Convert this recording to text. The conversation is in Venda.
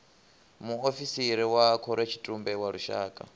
muofisiri wa khorotshitumbe wa lushaka